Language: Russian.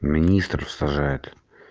министр в сажает